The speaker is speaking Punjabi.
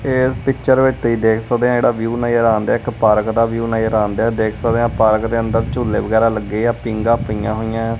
ਇਸ ਪਿੱਚਰ ਵਿੱਚ ਤੁਸੀਂ ਦੇਖ ਸਕਦੇ ਹ ਜਿਹੜਾ ਵਿਊ ਨਜਰ ਆਉਂਦਾ ਇੱਕ ਪਾਰਕ ਦਾ ਵਿਊ ਨਜ਼ਰ ਆਉਂਦਾ ਦੇਖ ਸਕਦੇ ਆ ਪਾਰਕ ਦੇ ਅੰਦਰ ਝੂਲੇ ਵਗੈਰਾ ਲੱਗੇ ਆ ਪੀਂਗਾ ਪਈਆਂ ਹੋਈਆਂ ਆ।